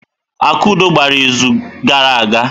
Akudo gbara izu gara aga.